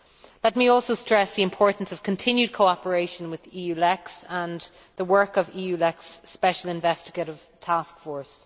Let me also stress the importance of continued cooperation with EULEX and the work of the EULEX Special Investigative Task Force.